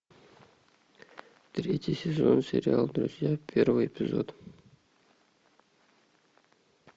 третий сезон сериал друзья первый эпизод